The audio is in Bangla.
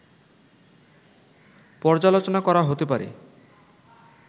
পর্যালোচনা করা হতে পারে